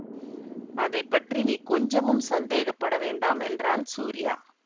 அதை பற்றி நீ கொஞ்சமும் சந்தேகப்பட வேண்டாம் என்றான் சூரியா